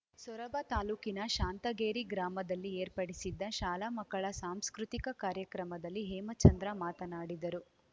ಸೊರಬ ತಾಲೂಕಿನ ಶಾಂತಗೇರಿ ಗ್ರಾಮದಲ್ಲಿ ಏರ್ಪಡಿಸಿದ್ದ ಶಾಲಾ ಮಕ್ಕಳ ಸಾಂಸ್ಕೃತಿಕ ಕಾರ್ಯಕ್ರಮದಲ್ಲಿ ಹೇಮಚಂದ್ರ ಮಾತನಾಡಿದರು